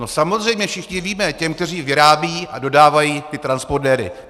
No samozřejmě všichni víme, těm, kteří vyrábí a dodávají ty transpondéry.